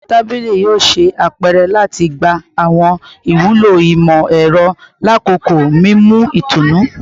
Awọn tabili yoo ṣe apẹrẹ lati gba awọn iwulo imọ-ẹrọ lakoko mimu itunu